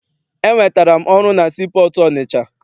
Enwetara m ọrụ na sii pọọtụ Ọnịcha.